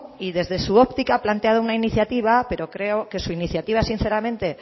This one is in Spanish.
y desde su óptica ha planteado una iniciativa pero creo que su iniciativa